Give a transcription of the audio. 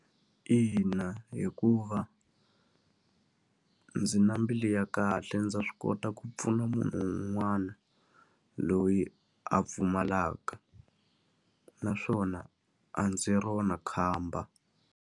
Ina hikuva ndzi na mbilu ya kahle ndza swi kota ku pfuna munhu un'wana, loyi a pfumalaka. Naswona a ndzi rona khamba.